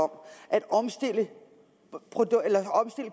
om at omstille